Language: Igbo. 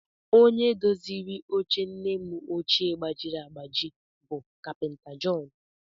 Onye doziri oche nne m ọchịe gbajiri agbaji bụ kapịnta Jọn